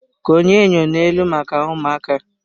Konye enyo n'elu maka ụmụaka.